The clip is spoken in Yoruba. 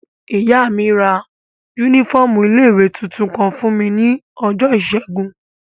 Ìyá mi ra yúnífọ́ọ̀mù ilé-ìwé tuntun kan fún mi ní ọjọ́ ìṣẹ́gun